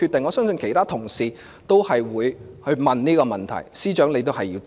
我相信其他同事都會問這個問題，司長是要回答的。